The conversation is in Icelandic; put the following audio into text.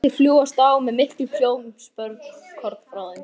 Tveir kettir fljúgast á með miklum hljóðum spölkorn frá þeim.